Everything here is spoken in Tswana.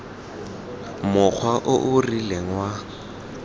mokgwa o o rileng wa